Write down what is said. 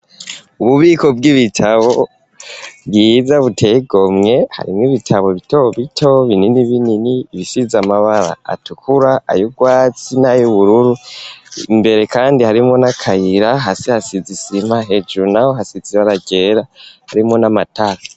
Ububiko bw'ibitabo bwiza buteye igomwe harimo ibitabo bito bito binini binini ibisize amabara atukura ayu rwatsi na y'ubururu, imbere kandi harimwo n'akayira hasi hasize isima hejuru naho hasize ibara ryera harimwo n'amatara.